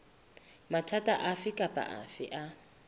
mathata afe kapa afe a